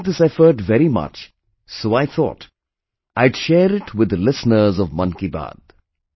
I liked this effort very much, so I thought, I'd share it with the listeners of 'Mann Ki Baat'